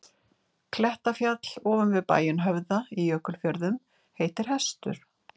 Klettafjall ofan við bæinn Höfða í Jökulfjörðum heitir Hestur.